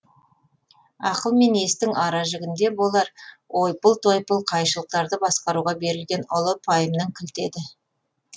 ақыл мен естің аражігінде болар ойпыл тойпыл қайшылықтарды басқаруға берілген ұлы пайымның кілті еді